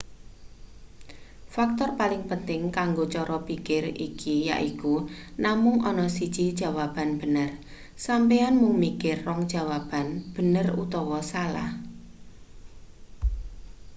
faktor paling penting kanggo cara pikir iki yaiku namung ana siji jawaban bener sampeyan mung mikir rong jawaban bener utawa salah